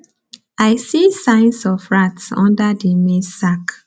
i see signs of rats under the maize sack